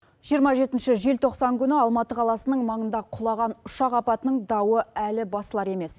жиырма жетінші желтоқсан күні алматы қаласының маңында құлаған ұшақ апатының дауы әлі басылар емес